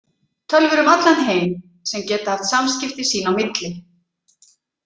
Tölvur um allan heim sem geta haft samskipti sín á milli.